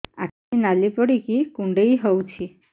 ଆଖି ନାଲି ପଡିକି କୁଣ୍ଡେଇ ହଉଛି